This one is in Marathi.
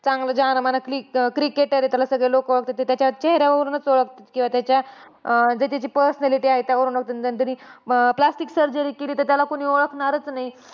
चांगला cricketer तर त्याला सगळे लोकं ओळखतात. त्याला त्याच्या चेहेऱ्यावरूनचं ओळखतात. किंवा त्याच्या अं त्याची personality आहे. त्यावरून तरी plastic surgery केली तर त्याला कोणी ओळखणारचं नाही.